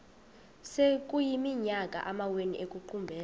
sekuyiminyaka amawenu ekuqumbele